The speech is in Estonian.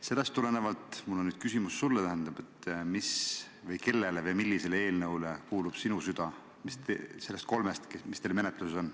Sellest tulenevalt mul on sulle küsimus: millisele eelnõule nendest kolmest, mis teil menetluses on, kuulub sinu süda?